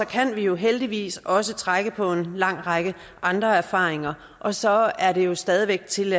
kan vi jo heldigvis også trække på en lang række andre erfaringer og så er det jo stadig væk tilladt